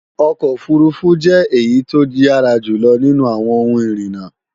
ọkọ̀ òfurufú jẹ́ èyí tó yára jùlọ nínú àwọn ohun ìrìnà